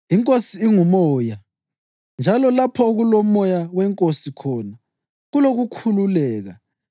INkosi inguMoya njalo lapho okuloMoya weNkosi khona, kulokukhululeka.